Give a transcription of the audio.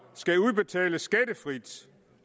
skal udbetales skattefrit